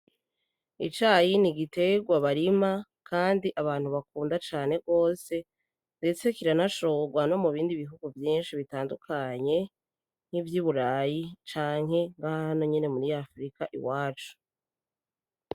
Icayi ni igiterwa barima kandi abantu bakunda cane gose ndetse kiranashorwa no mu bihugu vyinshi bitandukanye nkivy'i Burayi canke nka hano nyene muri Afrika iwacu.